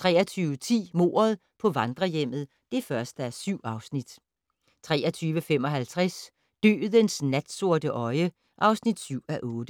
23:10: Mordet på vandrehjemmet (1:7) 23:55: Dødens natsorte øje (7:8)